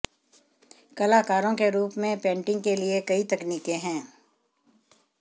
कलाकारों के रूप में पेंटिंग के लिए कई तकनीकें हैं